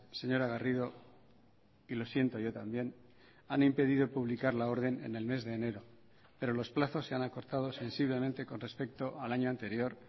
señora garrido y lo siento yo también han impedido publicar la orden en el mes de enero pero los plazos se han acortado sensiblemente con respecto al año anterior